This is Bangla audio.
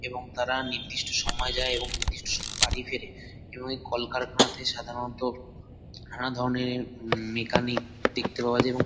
এবং তারা নির্দিষ্ট সময় যায় এবং নির্দিষ্ট সময় বাড়ি ফেরে এবং এই কলখারনাতে সাধারণত নানাধরনের উমম মেকানিক দেখতে পাওয়া যায় এবং--